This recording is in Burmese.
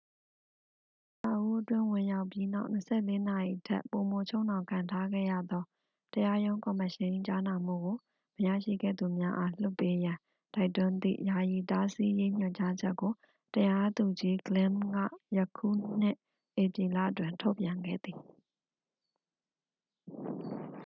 အဆောက်အဦးအတွင်း ဝင်ရောက်ပြီးနောက် 24 နာရီထက်ပိုမိုချုပ်နှောင်ခံထားခဲ့ရသော တရားရုံးကော်မရှင်၏ ကြားနာမှုကို မရရှိခဲ့သူများအား လွှတ်ပေးရန် တိုက်တွန်းသည့် ယာယီတားဆီးရေးညွှန်ကြားချက်ကို တရားသူကြီး glynn ကယခုနှစ် ဧပြီလတွင် ထုတ်ပြန်ခဲ့သည်